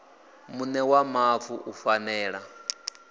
muṋe wa mavu u fanela